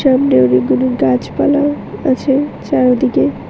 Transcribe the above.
সামনে অনেকগুলি গাছপালাও আছে চারিদিকে।